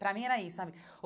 Para mim era isso, sabe?